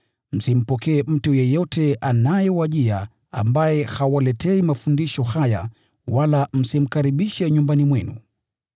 Msimpokee mtu yeyote anayewajia ambaye hawaletei mafundisho haya, wala msimkaribishe nyumbani mwenu.